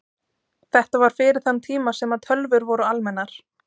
Þetta var fyrir þann tíma sem að tölvur voru almennar.